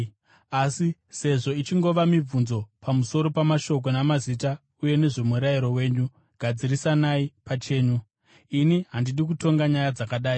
Asi sezvo ichingova mibvunzo pamusoro pamashoko namazita uye nezvomurayiro wenyu, gadzirisanai pachenyu. Ini handidi kutonga nyaya dzakadai.”